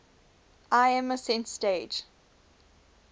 lm ascent stage